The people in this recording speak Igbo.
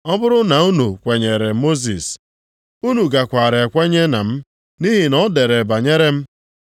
Ọ bụrụ na unu kwenyeere Mosis, unu gakwara ekwere na m, nʼihi na o dere banyere m.